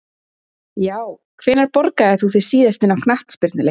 Já Hvenær borgaðir þú þig síðast inn á knattspyrnuleik?